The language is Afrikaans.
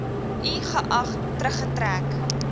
i geag teruggetrek